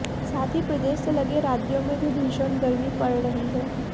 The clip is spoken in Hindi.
साथ ही प्रदेश से लगे राज्यों में भी भीषण गर्मी पड़ रही है